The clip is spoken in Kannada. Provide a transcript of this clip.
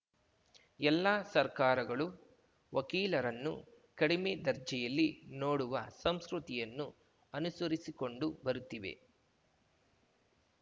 ಎಲ್ಲಾ ಸರ್ಕಾರಗಳು ವಕೀಲರನ್ನು ಕಡಿಮೆ ದರ್ಜೆಯಲ್ಲಿ ನೋಡುವ ಸಂಸ್ಕೃತಿಯನ್ನು ಅನುಸರಿಸಿಕೊಂಡು ಬರುತ್ತಿವೆ